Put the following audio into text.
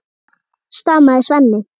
stamaði Svenni.